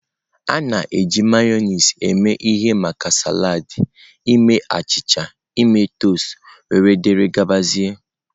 A na-eji Mayonezi eme ihe maka salad, ime achịcha, ime toasts, wdg.